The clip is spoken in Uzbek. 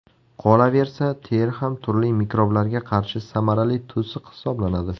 Qolaversa, teri ham turli mikroblarga qarshi samarali to‘siq hisoblanadi.